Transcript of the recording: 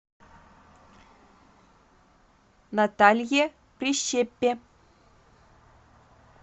наталье прищепе